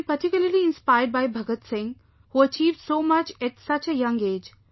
I am particularly inspired by Bhagat Singh, who achieved so much at such a young age